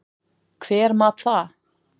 Hver mat það?